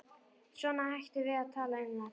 Svona, hættum að tala um þetta.